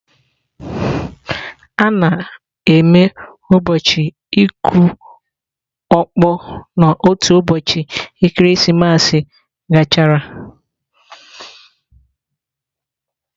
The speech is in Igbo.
A na-eme ụbọchị ịkụ ọkpọ n'otu ụbọchị ekeresimesi gachara